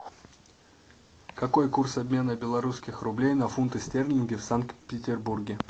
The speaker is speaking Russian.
какой курс обмена белорусских рублей на фунты стерлинги в санкт петербурге